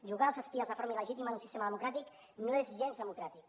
jugar als espies de forma il·legítima en un sistema democràtic no és gens democràtic